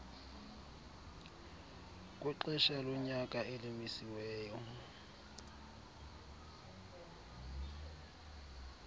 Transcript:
kwexesha lonyaka elimisiweyo